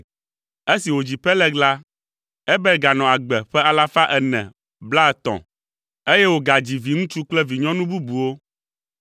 Esi wòdzi Peleg la, Eber ganɔ agbe ƒe alafa ene blaetɔ̃ (430), eye wògadzi viŋutsu kple vinyɔnu bubuwo.